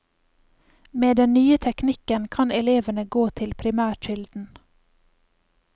Med den nye teknikken kan elevene gå til primærkilden.